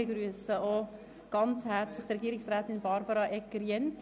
Ich begrüsse auch Frau Regierungsrätin Egger-Jenzer ganz herzlich.